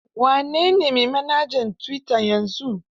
Wa ne ne mai manhajar tuwita yanzu?